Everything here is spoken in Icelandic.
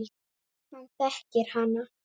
Hann þekkir hana.